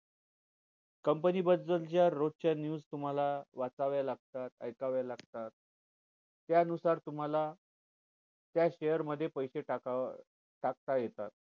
company बदल च्या रोजच्या news तुम्हाला वाचाव्या लागतात ऐकाव्या लागतात त्यानुसार तुम्हाला त्या share मध्ये पैसे टाकावे टाकता येतात